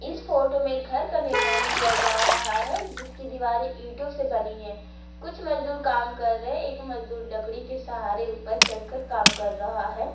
इस फोटो में घर का निर्माण किया जा रहा है जिसकी दीवार ईटों से बनी है कुछ मजदूर काम कर रहे हैं एक मजदूर लकड़ी के सहारे ऊपर चढ़कर काम कर रहा है।